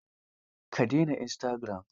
Ka dena istagiram?